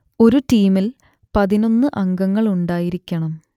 ഒരു ടീമിൽ പതിനൊന്ന് അംഗങ്ങളുണ്ടായിരിക്കണം